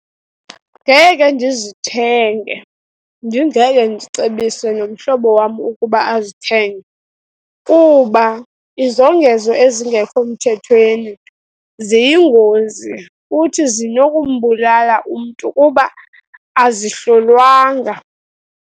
Ngeke ndizithenge, ndingeke ndicebise nomhlobo wam ukuba azithenge, kuba izongezo ezingekho mthethweni ziyingozi, futhi zinokumbulala umntu kuba azihlolwanga.